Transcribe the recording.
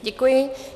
Děkuji.